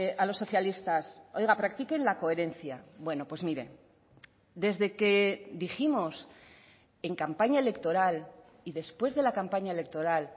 a los socialistas oiga practiquen la coherencia bueno pues mire desde que dijimos en campaña electoral y después de la campaña electoral